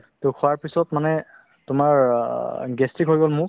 to খোৱাৰ পিছত মানে তোমাৰ অ gastric হৈ গ'ল মোৰ